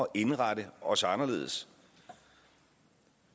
indrette os anderledes